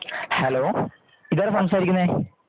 hello ഇതാരാ സംസാരിക്കുന്നേ